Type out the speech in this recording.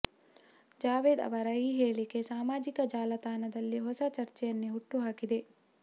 ಜಾವೇದ್ ಅವರ ಈ ಹೇಳಿಕೆ ಸಾಮಾಜಿಕ ಜಾಲತಾಣದಲ್ಲಿ ಹೊಸ ಚರ್ಚೆಯನ್ನೇ ಹುಟ್ಟು ಹಾಕಿದೆ